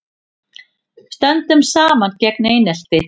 Stöndum saman gegn einelti